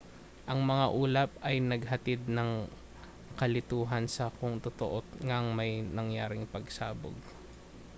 ang mga ulap ay naghatid ng kalituhan sa kung totoo ngang may nangyaring pagsabog